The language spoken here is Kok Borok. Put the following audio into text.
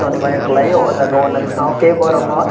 sonibar a kalai o aw Jaaga o nythok ke borok no.